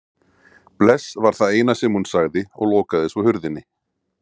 Bless var það eina sem hún sagði og lokaði svo hurðinni.